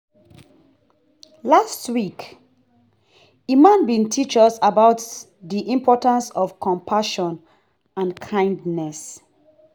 Last week, Imam bin teach us about di importance of compassion and kindness.